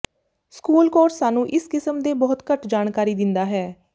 school course ਸਾਨੂੰ ਇਸ ਕਿਸਮ ਦੇ ਬਹੁਤ ਘੱਟ ਜਾਣਕਾਰੀ ਦਿੰਦਾ ਹੈ